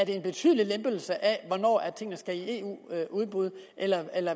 en betydelig lempelse af hvornår tingene skal i eu udbud eller